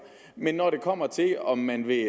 men når det kommer til om man vil